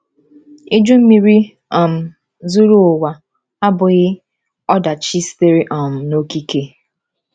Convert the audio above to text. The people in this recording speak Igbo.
Iju Mmiri um zuru ụwa abụghị ọdachi sitere um n’okike.